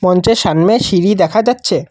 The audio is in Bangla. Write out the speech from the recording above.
মঞ্চের সামনে সিঁড়ি দেখা যাচ্ছে।